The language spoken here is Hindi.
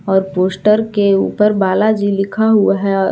और पोस्टर के ऊपर बालाजी लिखा हुआ है।